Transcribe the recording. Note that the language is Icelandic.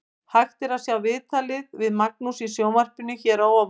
Hægt er að sjá viðtalið við Magnús í sjónvarpinu hér að ofan.